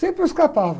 Sempre eu escapava.